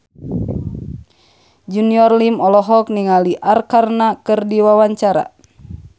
Junior Liem olohok ningali Arkarna keur diwawancara